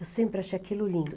Eu sempre achei aquilo lindo.